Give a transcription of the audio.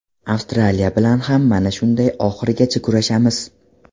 Avstraliya bilan ham mana shunday oxirigacha kurashamiz.